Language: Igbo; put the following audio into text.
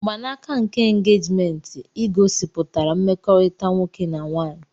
Mgbanaka nke engejiment igosipụtara mmekorita nwoke na nwaanyị.